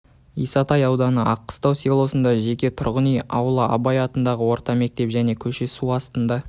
исатай ауданы аққыстау селосында жеке тұрғын үй аула абай атындағы орта мектеп және көше су астында